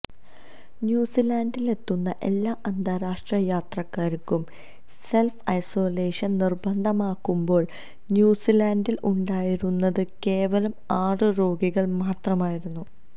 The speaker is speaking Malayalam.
ന്യുസിലാൻഡിലെത്തുന്ന എല്ലാ അന്താരാഷ്ട്ര യാത്രക്കാർക്കും സെൽഫ് ഐസൊലേഷൻ നിർബന്ധമാക്കുമ്പോൾ ന്യുസിലാൻഡിൽ ഉണ്ടായിരുന്നത് കേവലം ആറ് രോഗികൾ മാത്രമായിരുന്നു